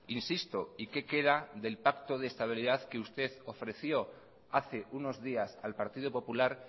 insisto y qué queda del pacto de estabilidad que usted ofreció hace unos días al partido popular